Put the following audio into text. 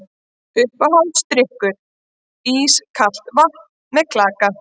Uppáhaldsdrykkur: ískalt vatn með klaka